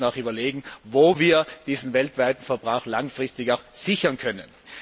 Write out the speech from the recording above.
Wir müssen auch überlegen, wie wir diesen weltweiten Verbrauch langfristig sichern können.